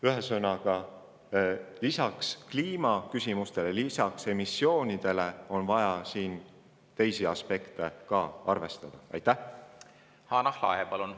Ühesõnaga, lisaks kliimaküsimustele ja emissioonidele on vaja siin ka teisi aspekte arvestada,.